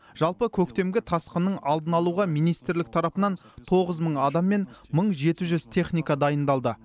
жалпы көктемгі тасқынның алдын алуға министрлік тарапынан тоғыз мың адам мен мың жеті жүз техника дайындалды